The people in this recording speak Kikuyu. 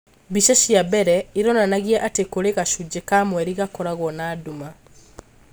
mbica cia mbere ironanagia atĩ kũrĩ gacũnjĩ ka mweri gakoragwo na nduma